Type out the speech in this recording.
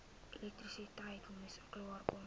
elektrisiteit moes klaarkom